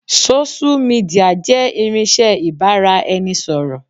Sósú midià jẹ́ irinsẹ́ ibà ra ẹni ṣọ̀rọ̀